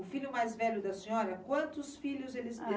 O filho mais velho da senhora, quantos filhos eles teve?